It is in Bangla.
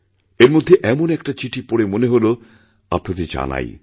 এরমধ্যে এমন একটা চিঠি পড়ে মনে হল আপনাদের জানাই